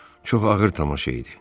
Çox ağır tamaşa idi.